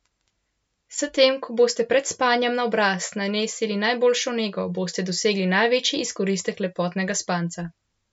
S tem ko boste pred spanjem na obraz nanesli najboljšo nego, boste dosegli največji izkoristek lepotnega spanca.